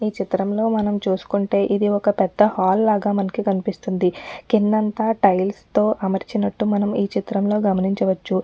ఈ చిత్రంలో మనం చూసుకుంటే ఇది ఒక్క పెద్ద హాల్ లాగా మనకి కనిపిస్తుంది కిందంతా టైల్స్ తో అమర్చించినట్టు మనం ఈ చిత్రంలో గమనించవచ్చు ఇంకా.